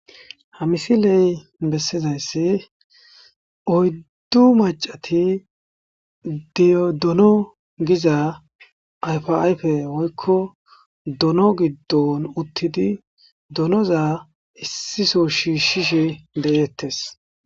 Ha misile besizayis oyidu machchati doono giza ayifa ayifa woykko doono giidon uttidi doonoza issi soho shishe deites.